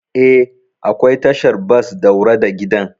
Eh, akwai tashar bas daura da gidan.